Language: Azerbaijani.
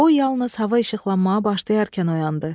O yalnız hava işıqlanmağa başlayarkən oyandı.